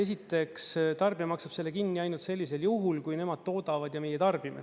Esiteks, tarbija maksab selle kinni ainult sellisel juhul, kui nemad toodavad ja meie tarbime.